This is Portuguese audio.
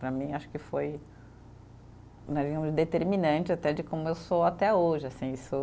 Para mim, acho que foi né e determinante até de como eu sou até hoje, assim sou.